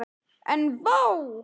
En vá!